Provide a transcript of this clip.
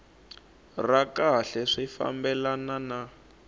ra kahle swi fambelana na